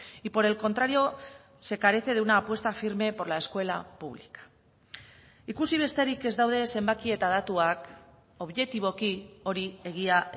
y por el contrario se carece de una apuesta firme por la escuela pública ikusi besterik ez daude zenbaki eta datuak objetiboki hori egia